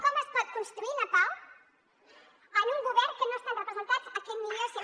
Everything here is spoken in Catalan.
com es pot construir la pau en un govern en què no estan representats aquest mil cent